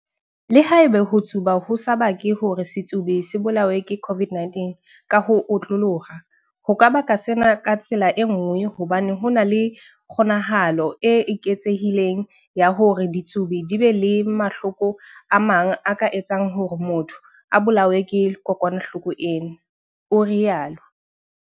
"Le haeba ho tsuba ho sa bake hore setsubi se bolawe ke COVID-19 ka ho otloloha, ho ka baka sena ka tsela e nngwe hobane ho na le kgo-nahalo e eketsehileng ya hore ditsubi di be le mahloko a mang a ka etsang hore motho a bolawe ke kokwanahloko ena," o rialo.